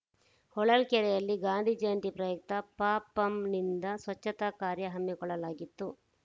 ಹೊಳಲ್ಕೆರೆಯಲ್ಲಿ ಗಾಂಧಿ ಜಯಂತಿ ಪ್ರಯುಕ್ತ ಪಪಂನಿಂದ ಸ್ವಚ್ಛತಾ ಕಾರ್ಯ ಹಮ್ಮಿಕೊಳ್ಳಲಾಗಿತ್ತು